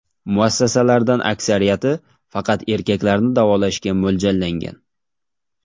Muassasalardan aksariyati faqat erkaklarni davolashga mo‘ljallangan.